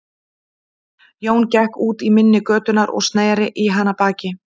Jón gekk út í mynni götunnar og sneri í hana baki.